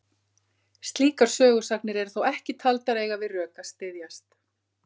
Slíkar sögusagnir eru þó ekki taldar eiga við rök að styðjast.